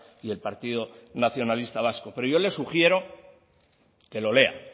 y el partido nacionalista vasco pero yo le sugiero que lo lea